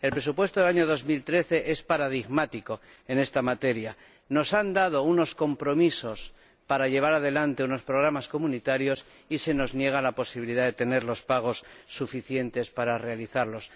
El presupuesto del año 2013 es paradigmático en esta materia nos han dado unos créditos de compromiso para llevar adelante unos programas comunitarios y se nos niega la posibilidad de tener los créditos de pago suficientes para realizarlos.